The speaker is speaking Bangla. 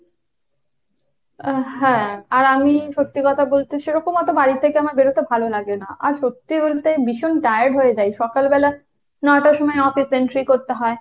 আহ হ্যাঁ, আর আমি সত্যি কথা বলতে সেরকম অত বাড়ি থেকে আমার বের হতে ভালো লাগে না। আর সত্যি বলতে ভীষণ tired হয়ে যাই সকালবেলা ন'টার সময় office entry করতে হয়।